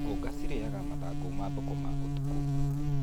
Ngũnga cirinyaga mathangũ ma thũkũma ũtukũ.